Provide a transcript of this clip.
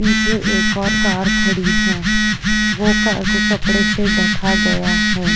पीछे एक और कार खड़ी है। वो कार को कपड़े से ढका गया है।